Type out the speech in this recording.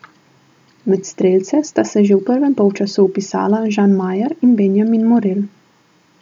Med strelce sta se že v prvem polčasu vpisala Žan Majer in Benjamin Morel.